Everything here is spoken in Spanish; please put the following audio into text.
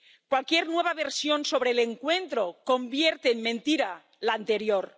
Cualquier nueva versión sobre el encuentro convierte en mentira la anterior.